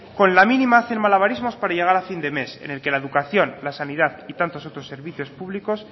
con la mínima hacen malabarismos para llegar a fin de mes en el que la educación la sanidad y tantos otros servicios públicos